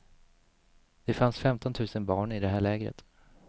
Det fanns femtontusen barn i det här lägret.